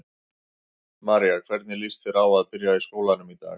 María: Hvernig líst þér á að byrja í skólanum í dag?